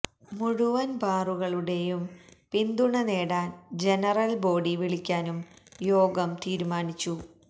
മുഴുവന് ബാറുടമകളുടെയും പിന്തുണ നേടാന് ജനറല് ബോഡി വിളിക്കാനും യോഗം തീരുമാനിച്ചു